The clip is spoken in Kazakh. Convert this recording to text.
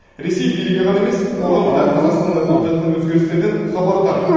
ресей билігі ғана емес қоғамы да қазақстанда болып жатқан өзгерістерден хабардар